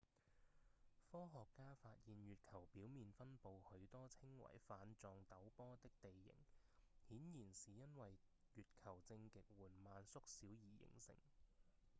科學家發現月球表面分布許多稱為瓣狀陡坡的地形顯然是因為月球正極緩慢縮小而形成